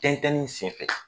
Tɛntɛnni sen fɛ